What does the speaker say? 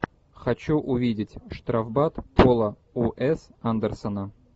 хочу увидеть штрафбат пола уэс андерсона